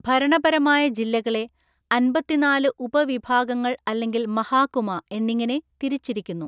ഭരണപരമായ ജില്ലകളെ അന്പത്തിനാല് ഉപവിഭാഗങ്ങൾ അല്ലെങ്കിൽ മഹാകുമ എന്നിങ്ങനെ തിരിച്ചിരിക്കുന്നു.